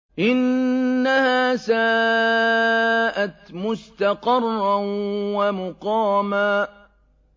إِنَّهَا سَاءَتْ مُسْتَقَرًّا وَمُقَامًا